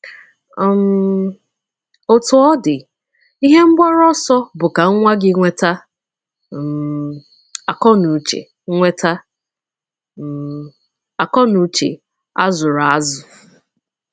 um Otú ọ dị, ihe mgbaru ọsọ bụ ka nwa gị nweta um akọnuche nweta um akọnuche a zụrụ azụ.